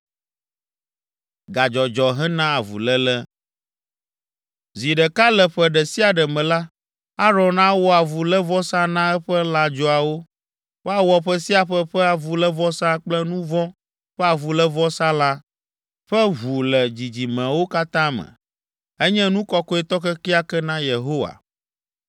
“Zi ɖeka le ƒe ɖe sia ɖe me la, Aron awɔ avulévɔsa na eƒe lãdzoawo. Woawɔ ƒe sia ƒe ƒe avulévɔsa kple nu vɔ̃ ƒe avulévɔsalã ƒe ʋu le dzidzimewo katã me. Enye nu kɔkɔetɔ kekeake na Yehowa.”